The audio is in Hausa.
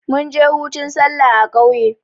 munje hutun sallah a kauye